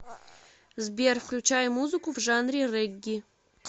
сбер включай музыку в жанре регги